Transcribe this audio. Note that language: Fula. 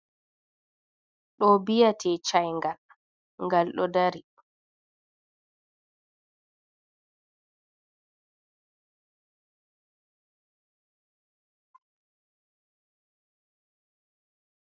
Ɗo biyete cayngal ngal ɗo dari.